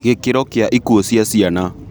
Gĩkĩro kĩa ikuũ cia ciana